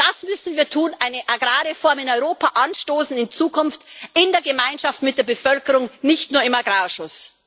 Das müssen wir tun Eine Agrarreform in Europa anstoßen in Zukunft in der Gemeinschaft, mit der Bevölkerung, nicht nur im Agrarausschuss.